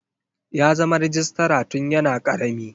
Ya zama rejistra tun yana karami.